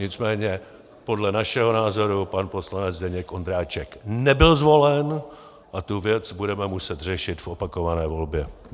Nicméně podle našeho názoru pan poslanec Zdeněk Ondráček nebyl zvolen a tu věc budeme muset řešit v opakované volbě.